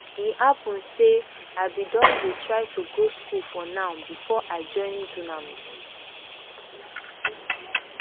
e happun say i bin don dey try to go school for noun bifor i join dunamis